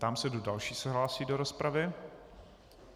Ptám se, kdo další se hlásí do rozpravy.